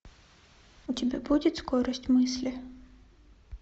у тебя будет скорость мысли